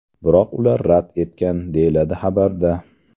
Biroq ular rad etgan”, deyiladi xabarda.